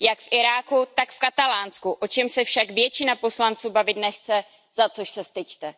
Jak v Iráku, tak v Katalánsku, o čem se však většina poslanců bavit nechce, za což se styďte.